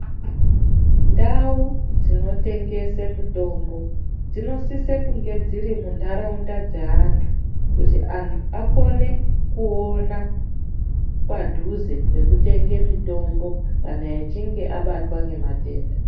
Ndau dzino tengese mutombo dzino sise kunge dziri mu ndaraunda dze antu kuti antu akone kuona padhuze peku tenge mitombo kana achinge abatwa nge matenda.